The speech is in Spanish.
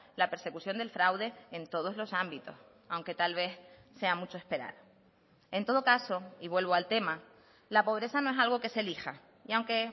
la persecución del fraude en todos los ámbitos aunque tal vez sea mucho esperar en todo caso y vuelvo al tema la pobreza no es algo que se elija y aunque